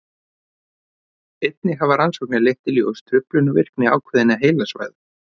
einnig hafa rannsóknir leitt í ljós truflun á virkni ákveðinna heilasvæða